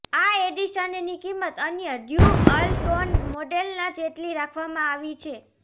આ એડિશનની કિંમત અન્ય ડ્યૂઅલ ટોન મોડેલના જેટલી રાખવામાં આવી છે